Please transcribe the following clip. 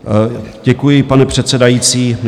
Děkuji, pane předsedající.